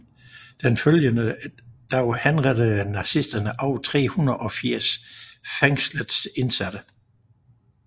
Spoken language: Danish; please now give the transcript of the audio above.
Den følgende dag henrettede nazisterne over 380 af fængslets indsatte